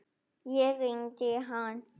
Ég hringdi í hann.